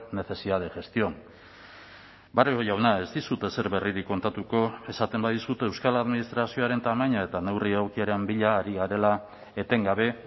necesidad de gestión barrio jauna ez dizut ezer berririk kontatuko esaten badizut euskal administrazioaren tamaina eta neurri aukeren bila ari garela etengabe